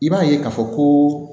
I b'a ye k'a fɔ koo